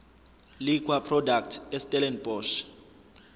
liquor products estellenbosch